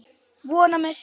Vona með sér.